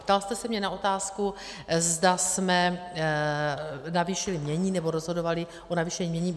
Ptal jste se mě na otázku, zda jsme navýšili jmění nebo rozhodovali o navýšení jmění.